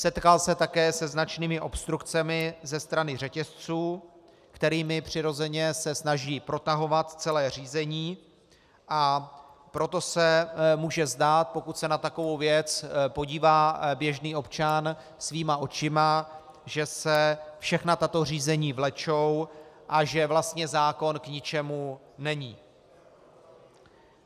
Setkal se také se značnými obstrukcemi ze strany řetězců, kterými přirozeně se snaží protahovat celé řízení, a proto se může zdát, pokud se na takovou věc podívá běžný občan svýma očima, že se všechna tato řízení vlečou a že vlastně zákon k ničemu není.